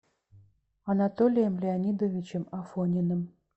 анатолием леонидовичем афониным